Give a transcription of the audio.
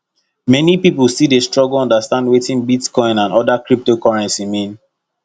many people still dey struggle understand wetin bitcoin and other cryptocurrency mean